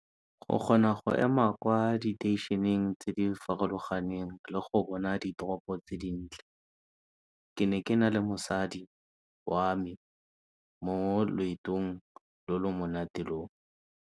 O kgona go ema kwa diteišeneng tse di farologaneng le go bona ditoropo tse dintle. Ke ne ke na le mosadi wa me mo loetong lo lo monate lo.